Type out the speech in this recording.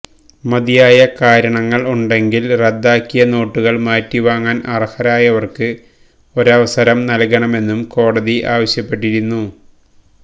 മതിയായ കാരണങ്ങള് ഉണ്ടെങ്കില് റദ്ദാക്കിയ നോട്ടുകള് മാറ്റിവാങ്ങാന് അര്ഹരായവര്ക്ക് ഒരവസരം നല്കണമെന്ന് കോടതി ആവശ്യപ്പെട്ടിരുന്നു